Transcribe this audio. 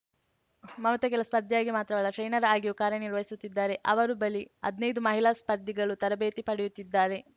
ಮಮತಾ ಕೇವಲ ಸ್ಪರ್ಧಿಯಾಗಿ ಮಾತ್ರವಲ್ಲ ಟ್ರೈನರ್‌ ಆಗಿಯೂ ಕಾರ್ಯನಿರ್ವಹಿಸುತ್ತಿದ್ದಾರೆ ಅವರು ಬಳಿ ಹದ್ನೈದು ಮಹಿಳಾ ಸ್ಪರ್ಧಿಗಳು ತರಬೇತಿ ಪಡೆಯುತ್ತಿದ್ದಾರೆ